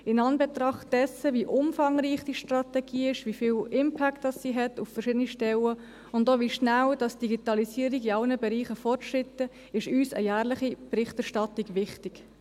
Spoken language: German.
In Anbetracht dessen, wie umfangreich diese Strategie ist, wie viel Impact sie auf verschiedene Stellen hat und auch wie rasch die Digitalisierung in allen Bereichen fortschreitet, ist uns eine jährliche Berichterstattung wichtig.